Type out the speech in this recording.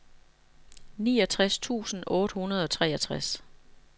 niogtres tusind otte hundrede og treogtres